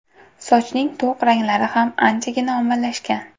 Sochning to‘q ranglari ham anchagina ommalashgan.